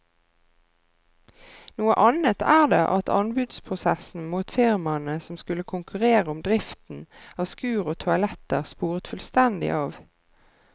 Noe annet er det at anbudsprosessen mot firmaene som skulle konkurrere om driften av skur og toaletter sporet fullstendig av.